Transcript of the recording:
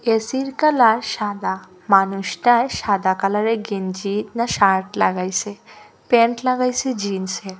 এসির কালার সাদা মানুষটায় সাদা কালারের গেঞ্জি না শার্ট লাগাইসে প্যান্ট লাগাইসে জিন্সের।